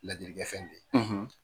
Ladili kɛ fɛn be yi.